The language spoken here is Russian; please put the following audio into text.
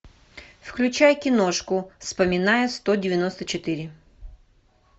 включай киношку вспоминая сто девяносто четыре